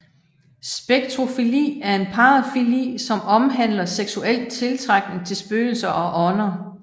Spectrofili er en parafili som omhandler seksuel tiltrækning til spøgelser og ånder